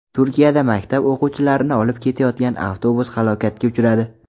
Turkiyada maktab o‘quvchilarini olib ketayotgan avtobus halokatga uchradi.